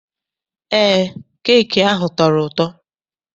Eé, keeki ahụ tọrọ ụtọ.